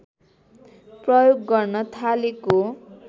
प्रयोग गर्न थालेको